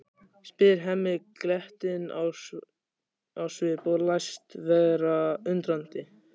spyr Hemmi glettinn á svip og læst vera undrandi.